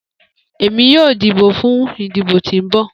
Emi yoo dibo fun idibo ti n bọ